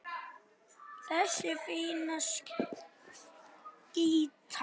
Þessi fína skyrta!